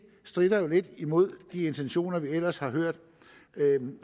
stritter lidt imod de intentioner vi ellers har hørt